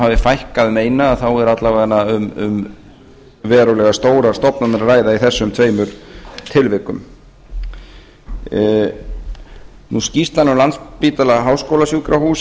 hafi fækkað um eina þá er alla vega um verulega stórar stofnanir að ræða í þessum tveimur tilvikum skýrslan um landspítala háskólasjúkrahús